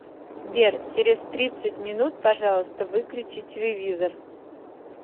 сбер через тридцать минут пожалуйста выключи телевизор